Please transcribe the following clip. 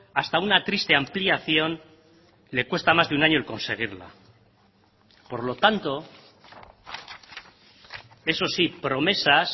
hasta una triste ampliación le cuesta más de un año el conseguirla por lo tanto eso sí promesas